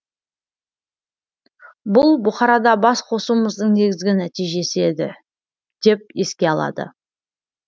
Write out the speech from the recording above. бұл бұқарада бас қосуымыздың негізгі нәтижесі еді деп еске алады